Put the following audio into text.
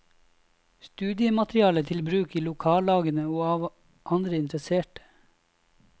Studiemateriale til bruk i lokallagene og av andre interesserte.